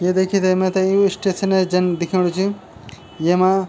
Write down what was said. ये देखी थे मैथे यु स्टेशन जन दिखेणु च येमा --